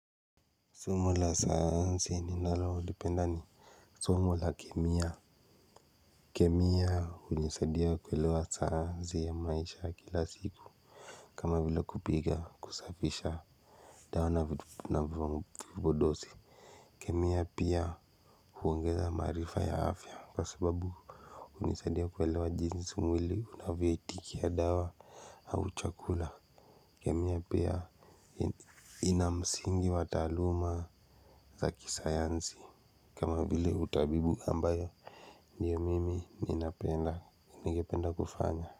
Somo la sayansi ninalolipenda ni somo la kemia. Kemia hunisadia kuelewa sayansi ya maisha kila siku. Kama vile kupiga, kusafisha dawa na vipodosi kemia pia huongeza maarifa ya afya kwa sababu hunisadia kuelewa jinsi mwili unavyoitikia dawa au chakula. Kemia pia ina msingi wa talauma za kisayansi kama vile utabibu ambayo ndio mimi ninapenda, ningependa kufanya.